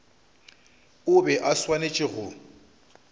o bego o swanetše go